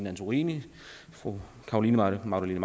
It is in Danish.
antorini fru carolina magdalene